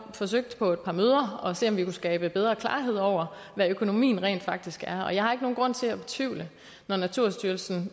forsøgt på et par møder at skabe bedre klarhed over hvad økonomien rent faktisk er jeg har ikke nogen grund til at betvivle naturstyrelsen